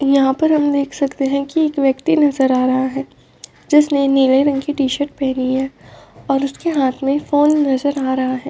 यहाँ पर हम देख सकते हैं की एक व्यक्ति नजर आ रहा है। जिसने नीले रंग की टी-शर्ट पहनी है और उसके हाथ में फ़ोन नजर आ रहा है।